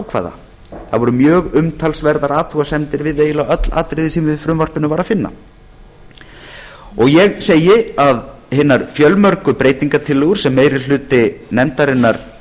ákvæða það voru mjög umtalsverðar athugasemdir við eiginlega öll atriði sem í frumvarpinu var að finna ég segi að hinar fjölmörgu breytingartillögur sem meiri hluti nefndarinnar